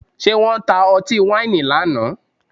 Ṣé wọ́n ta ọtí wáìnì lánàá?